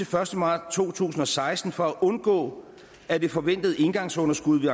første maj to tusind og seksten for at undgå at det forventede engangsunderskud